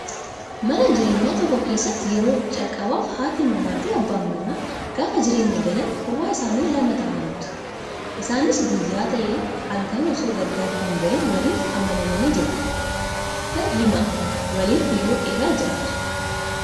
Mana jireenyaa tokko keessatti yeroo calqabaaf haati manaa fi abbaan manaa gaafa jireenya eegalan kophaa isaanii lama ta'aniitu. Isaanis guyyaas ta'ee halkan osoo gargar hin bahiin waliif amanamanii jiraatu. Sittan himaa waliin yeroo dheeraa jiraatu.